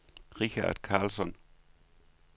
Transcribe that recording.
Richard Carlsson